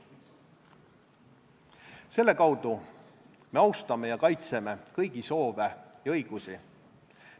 Selle kaudu me austame ja kaitseme kõigi soove ja õigusi.